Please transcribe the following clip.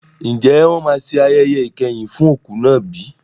Ǹjẹ́ wọn máa ṣe ayẹyẹ ìkẹyìn fún òkú náà bí?